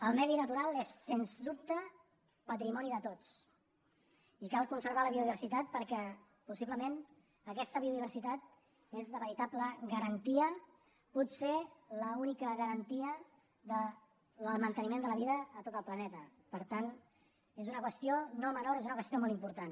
el medi natural és sens dubte patrimoni de tots i cal conservar la biodiversitat perquè possiblement aquesta biodiversitat és la veritable garantia potser l’única garantia del manteniment de la vida a tot el planeta per tant és una qüestió no menor és una qüestió molt important